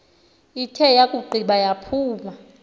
ithe yakugqiba yaphuma